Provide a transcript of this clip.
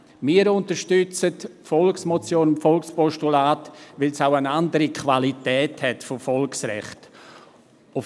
Wir unterstützen Volksmotion und Volkspostulat, weil sie auch eine andere Qualität eines Volksrechts aufweisen.